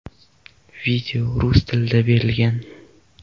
Video rus tilida berilgan.